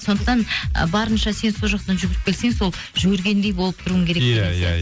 сондықта ы барынша сен сол жақтан жүгіріп келсең сол жүгіргендей болып тұруың керек иә иә